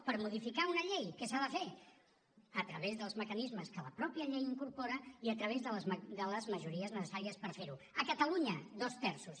per modificar una llei què s’ha de fer a través dels mecanismes que la mateixa llei incorpora i a través de les majories necessàries per fer ho a catalunya dos terços